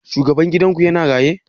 Shugaban gidan ku ya na raye?